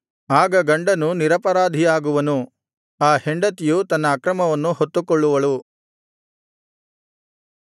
ಆಗ ಗಂಡನು ನಿರಪರಾಧಿಯಾಗುವನು ಆ ಹೆಂಡತಿಯು ತನ್ನ ಅಕ್ರಮವನ್ನು ಹೊತ್ತುಕೊಳ್ಳುವಳು